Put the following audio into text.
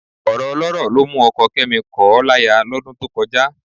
Ọ̀rọ̀ ọlọ́rọ̀ ló mú ọkọ Kẹ́mi kọ̀ ọ́ láya lọ́dún tó kọjá